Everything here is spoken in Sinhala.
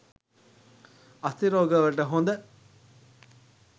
අස්ථි රෝග වලට හොඳ